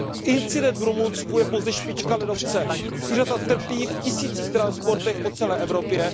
Incident v Rumunsku je pouze špička ledovce, zvířata trpí v tisících transportech po celé Evropě.